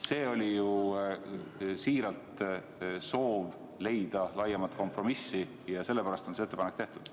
See oli siiralt soov leida laiemat kompromissi ja sellepärast sai see ettepanek tehtud.